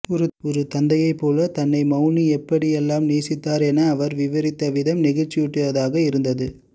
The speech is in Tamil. ஒரு தந்தையைப் போலத் தன்னை மௌனி எப்படி எல்லாம் நேசித்தார் என அவர் விவரித்த விதம் நெகிழ்ச்சியூட்டுவதாக இருந்தது